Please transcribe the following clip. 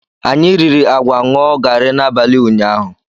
Anyị riri agwa ṅụọ gari n'abalị ụnyahụ.